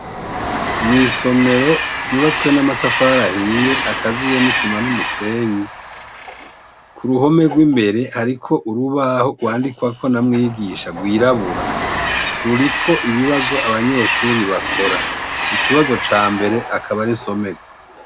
Mw'isomero ryubatswe n'ama tafarahiye akaziye n'isima n'umusenyi ku ruhome rw'imbere, ariko urubaho rwandikwako namwigisha rwirabura ruriko ibibazo abanyeshuri bakora ikibazo ca mbere akaba arinsomerwa.